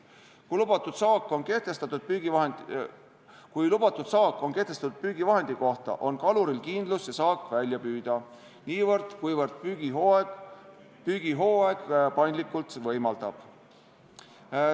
Kui lubatud saak on kehtestatud püügivahendi kohta, on kaluril kindlus see saak välja püüda, niivõrd kuivõrd püügihooaeg seda paindlikkust võimaldab.